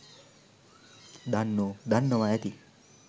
දන්නෝ දන්නවා ඇති